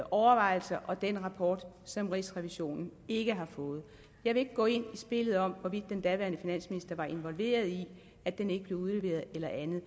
overvejelser og den rapport som rigsrevisionen ikke har fået jeg vil ikke gå ind i spillet om hvorvidt den daværende finansminister var involveret i at den ikke blev udleveret eller andet